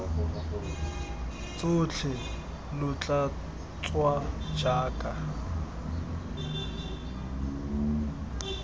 tsotlhe lo tla tswa jaaka